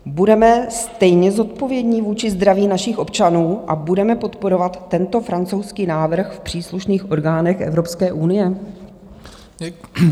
Budeme stejně zodpovědní vůči zdraví našich občanů a budeme podporovat tento francouzský návrh v příslušných orgánech Evropské unie?